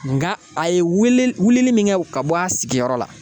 Nka a ye weele wilili min kɛ ka bɔ a sigiyɔrɔ la